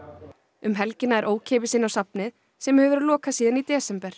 um helgina er ókeypis inn á safnið sem hefur verið lokað síðan í desember